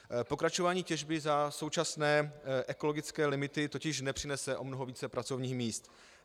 Pokračování těžby za současné ekologické limity totiž nepřinese o mnoho více pracovních míst.